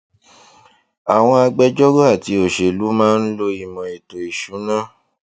àwọn agbẹjọrò àti òṣèlú máa ń lo ìmò ètò ìsúná